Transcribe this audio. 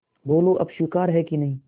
बोलो अब स्वीकार है कि नहीं